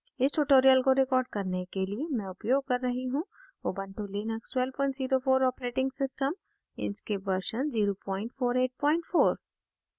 इस tutorial को record करने के लिए मैं उपयोग कर रही हूँ